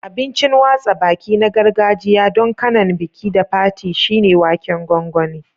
Abincin watsa baki na gargajiya don kanan biki da fati shine waken gongoni.